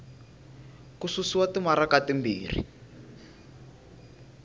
ku susiwa timaraka ti timbirhi